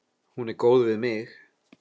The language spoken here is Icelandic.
Hún er góð við mig.